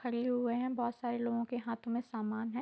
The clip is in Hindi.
खड़े हुए है बोहोत सारे लोगो के हाथ में सामान है ।